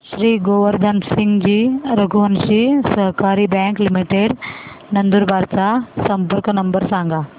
श्री गोवर्धन सिंगजी रघुवंशी सहकारी bank limited Nandurbar चा संपर्क नंबर सांगा